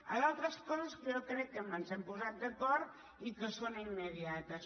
a d’altres coses que jo crec que ens hem posat d’acord i que són imme·diates